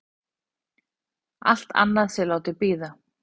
Allt annað sé látið bíða.